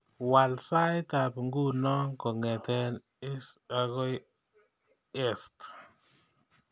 Waal saitab nguno kongete ist agoi est